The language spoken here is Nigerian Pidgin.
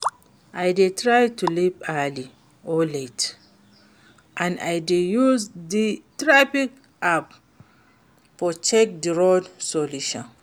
I dey try to leave early or late, and i dey use di traffic app to check di road solution.